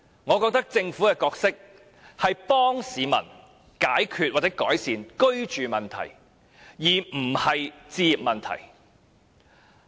我認為政府的角色，是協助市民解決或改善居住問題，而不是置業問題。